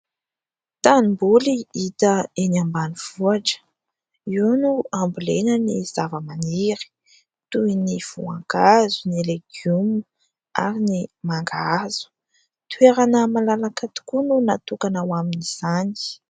Tanimboly hita eny ambanivohitra, io no ambolena ny zava-maniry toy ny voankazo ny legioma ary ny mangahazo. Toerana malalaka tokoa no natokana ho amin'izany.